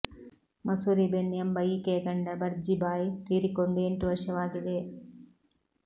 ಮಸೂರಿ ಬೆನ್ ಎಂಬ ಈಕೆಯ ಗಂಡ ಬರ್ಜಿ ಭಾಯ್ ತೀರಿಕೊಂಡು ಎಂಟು ವರ್ಷವಾಗಿದೆ